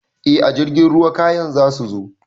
Eh a jirgin ruwa kayan zasu zo